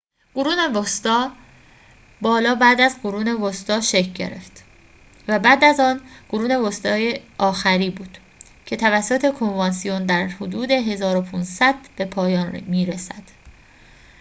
قرون وسطی بالا بعد از قرون وسطی شکل گرفت و بعد از آن قرون وسطی آخری بود که توسط کنوانسیون در حدود ۱۵۰۰ به پایان می رسد